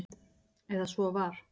Eða svo var.